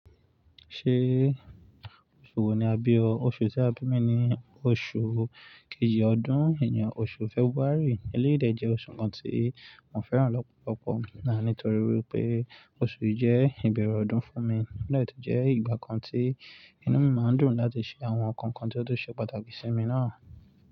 Ṣé oṣù wo ni a bí o? Oṣù tí a bí mi ni oṣù kejì ọdún ìyẹn oṣù February eléyìí dẹ̀ jẹ́ oṣù kan tí mo fẹ́ràn lọ́pọ̀lọpọ̀, náà nítorí wípé oṣù yìí jẹ́ ìbẹ̀rẹ̀ ọdún fún mi, ó dà ẹ́ tó jẹ́ ìgbà kan tí inú mi máa ń dùn láti ṣe àwọn nǹkan kan tí ó tó ṣe pàtàkì sí mi náà.